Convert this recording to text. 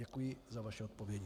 Děkuji za vaše odpovědi.